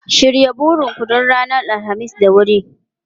Shirya burin ku don ranar Alhamis da wuri!